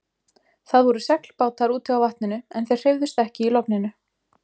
Það voru seglbátar úti á vatninu en þeir hreyfðust ekki í logninu.